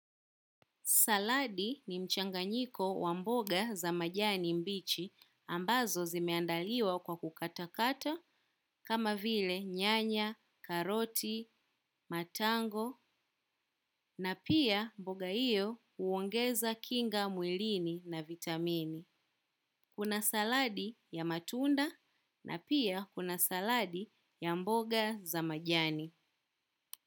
Saladi ni mchanganyiko wa mboga za majani mbichi ambazo zimeandaliwa kwa kukata kata kama vile nyanya, karoti, matango. Na pia mboga hiyo huongeza kinga mwilini na vitamini. Kuna saladi ya matunda na pia kuna saladi ya mboga za majani.